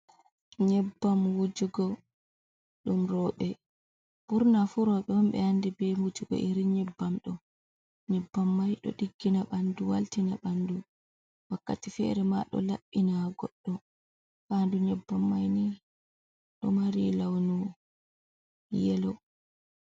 Nyebbam wujugo ɗum rooɓe, ɓurna fuu rooɓe on ɓe andi be wujugo irin nyebbam ɗo, nyebbam mai ɗo ɗiggina ɓandu, waltina ɓandu, wakkati fere ma ɗo labbina goɗɗo, faandu nyebbam mai ni ɗo mari la'unu yelo.